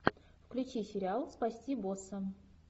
включи сериал спасти босса